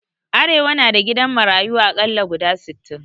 Arewa na da gidan marayu aƙalla guda sittin